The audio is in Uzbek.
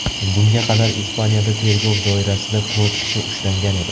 Bunga qadar Ispaniyada tergov doirasida to‘rt kishi ushlangan edi.